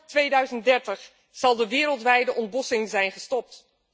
Vόόr 2030 zal de wereldwijde ontbossing zijn gestopt.